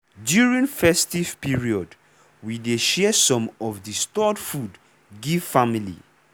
during festive period we dey share some of the stored food give family.